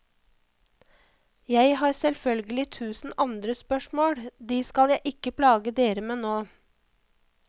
Jeg har selvølgelig tusen andre spørsmål, de skal jeg ikke plage dere med nå.